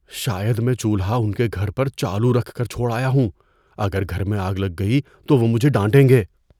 شاید میں چولہا ان کے گھر پر چالو رکھ کر چھوڑ آیا یوں۔ اگر گھر میں آگ لگ گئی تو وہ مجھے ڈانٹیں گے۔